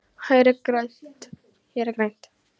Hér er grænt.